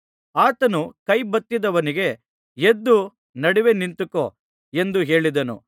ಆತನು ಕೈಬತ್ತಿದ್ದವನಿಗೆ ಎದ್ದು ನಡುವೆ ನಿಂತುಕೋ ಎಂದು ಹೇಳಿದನು